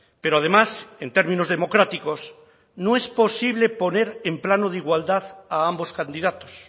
pero además en términos democráticos no es posible poner en plano de igualdad a ambos candidatos